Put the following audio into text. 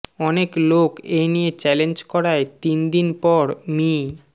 অনেক লোক এ নিয়ে চ্যালেঞ্জ করায় তিন দিন পর মি